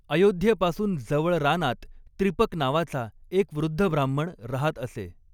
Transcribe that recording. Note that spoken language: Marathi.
अयोध्येपासून जवळ रानात त्रिपक नावाचा एक वृद्ध ब्राह्मण रहात असे.